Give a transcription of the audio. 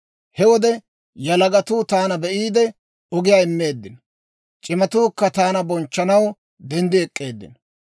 He wode yalagatuu taana be'iide, ogiyaa immeeddino; c'imatuukka taana bonchchanaw denddi ek'k'eeddino.